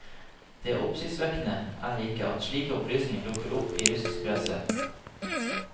Det oppsiktsvekkende er ikke at slike opplysninger dukker opp i russisk presse.